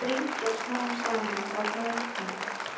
Þær þrengjast smám saman og harðna.